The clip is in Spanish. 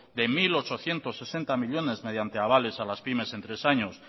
de mil ochocientos sesenta millónes mediante avales a las pymes en tres años